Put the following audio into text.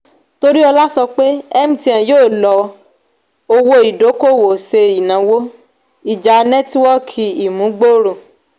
toriola sọ pé mtn yóò lọ owó idokowo ṣe ìnáwó ìjá netiwoki imubgooro.